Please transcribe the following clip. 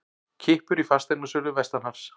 Kippur í fasteignasölu vestanhafs